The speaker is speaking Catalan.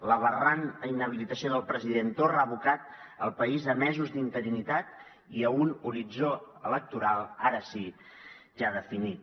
l’aberrant inhabilitació del president torra ha abocat el país a mesos d’interinitat i a un horitzó electoral ara sí ja definit